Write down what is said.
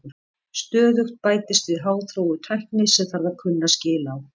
Stöðugt bætist við háþróuð tækni sem þarf að kunna skil á.